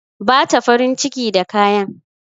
Bata farin ciki da kayan